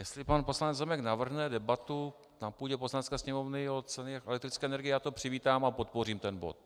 Jestli pan poslanec Zemek navrhne debatu na půdě Poslanecké sněmovny o ceně elektrické energie, já to přivítám a podpořím ten bod.